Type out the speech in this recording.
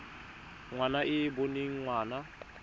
ngwana e e boneng ngwana